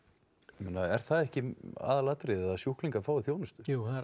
meina er það ekki aðalatriðið að sjúklingar fái þjónustu jú það er